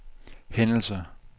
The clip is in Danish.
hændelser